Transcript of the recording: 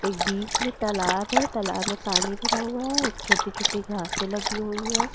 एक बीच में तालाब है तालाब में पानी भरा हुआ है छोटी छोटी घासे लगी हुई है।